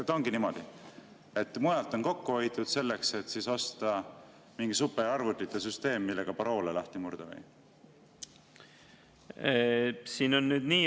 Kas ongi niimoodi, et mujalt on kokku hoitud selleks, et osta mingi superarvutite süsteem, millega paroole lahti murda?